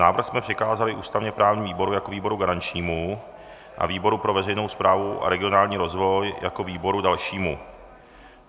Návrh jsme přikázali ústavně-právnímu výboru jako výboru garančnímu a výboru pro veřejnou správu a regionální rozvoj jako výboru dalšímu.